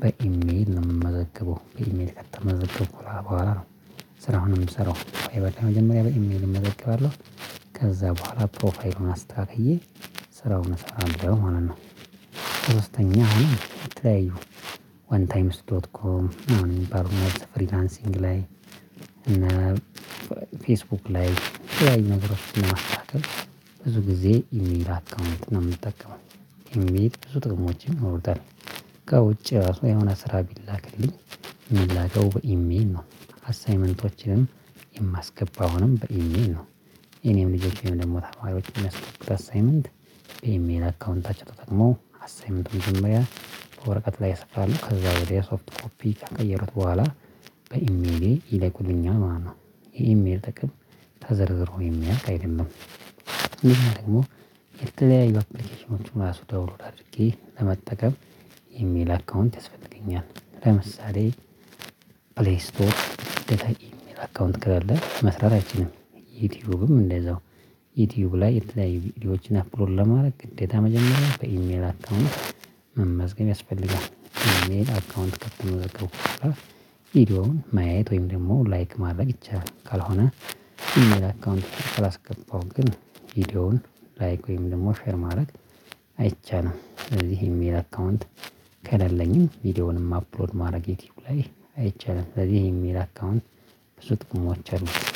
በኢሜል ነው የምመዘግበው። በኢሜል ከተመዘገበው በኋላ ስራውን የምስራው። የበደ መጀመሪያ በኢሜል እመዘገባለው። ከዛ በኋላ ፕሮፋይሉን አስተካክዬ ስራውን እሰራለሁ። ማለት ነው ሶስተኛ አሁን የተለያዩ ዋን ታይም ዶት ኮም የሚባሉ ፍሪላንሲንግ ላይ እና ፌስቡክ ላይ የተለያዩ ነግሮችን ለማስተካከል ብዙ ጊዜ ኢሜል አካውንት ነው የምጠቀመው ኢሜል በዙ ጥቅሞች ይኖሩታል። ከውጪ ራሱ የሆነ ስራ ቢላክልኝ የሚላከው በኢሜል ነው። አሳይመንቶችንም የማስገባው አሁንም በኢሜል ነው። የእኔም ልጆቼም ደግሞ ተማሪዎችን የሚያስገቡተት አሳይመንት ኤምኤን አካውንታችን ተጠቅሞ አሳይመንትም መጀመሪያ በወረቀት ላይ ያሰፍራሉ ከዛ ወዲያ ሶፍት ኮፒ ከቀየሩት በኋላ በኢሜሌ ይለኩልኛል። ማለት ነው የኢሜል ጥቅም ተዘርዝሮ የሚያልቅ አይደለም። ይሄ ደግሞ የተለያዩ አፕሊኬሽኖችን እራሱ ዳውንሎድ አድርጌ ለመጠቀም ኢሜል አካውንት ያስፈልገኛል። ለምሳሌ ፕሌይ ስቶፕ ግዴታ ኢሜል አካውንት ከሌለ መስራት አይችልም። ዩቲዩብም እንደዛው ዩቲዩብ ላይ የተለያዩ ቪዲዮዎችን አፕሎድ ለማድረግ ግዴታ መጀመሪያ በኢሜል አካውንት መመዝገብ ያስፈልጋል። በኢሜል አካውንት ከተመዘገብኩ በኃላ ቪዲዮውን ማየት ወይም ደግሞ ላይክ ማድረግ ይቻላል። ካልሆነ ኢሜል አካውንት ካላስገባው ግን ቪዲዮውን ላይክ ወይም ደግሞ ሼር ማድረግ አይቻልም። ስለዚህ ኢሜል አካውንት ከሌለኝም ቪዲዮውንም አፕሎድ ማድረግ ዩቲዩብ ላይ አይቻልም። ለዚህ ኢሜል አካውንት ብዙ ጥቁሞች